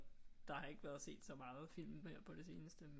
Der har ikke været set så meget film her på det seneste